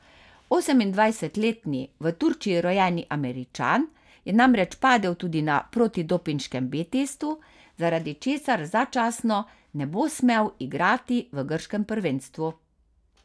Osemindvajsetletni v Turčiji rojeni Američan je namreč padel tudi na protidopinškem B testu, zaradi česar začasno ne bo smel igrati v grškem prvenstvu.